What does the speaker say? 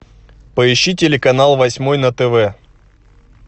поищи телеканал восьмой на тв